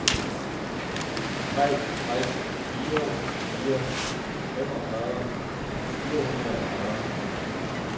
tre tre fire fire femogfyrre fire hundrede og fyrre